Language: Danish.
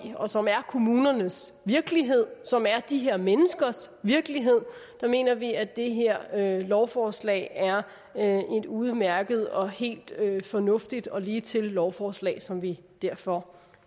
og som er kommunernes virkelighed som er de her menneskers virkelighed mener vi at det her lovforslag er er et udmærket og helt fornuftigt og ligetil lovforslag som vi derfor